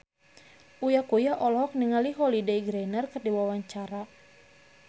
Uya Kuya olohok ningali Holliday Grainger keur diwawancara